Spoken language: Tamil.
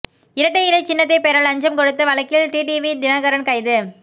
இரட்டை இலைச் சின்னத்தை பெற லஞ்சம் கொடுத்த வழக்கில் டிடிவி தினகரன் கைது